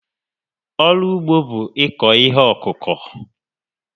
Ọrụ ugbo bụ ịkụ ihe ọkụkụ